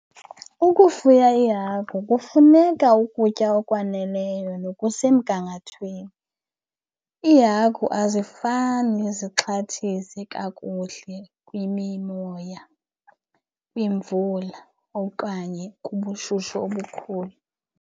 Ukufuya iihagu kufuneka ukutya okwaneleyo nokusemgangathweni. Iihagu azifani zixhathise kakuhle kwimimoya, kwiimvula okanye kubushushu obukhulu.